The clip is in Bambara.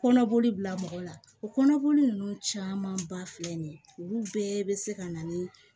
Kɔnɔboli bila mɔgɔ la o kɔnɔboli ninnu caman ba filɛ nin ye olu bɛɛ bɛ se ka na ni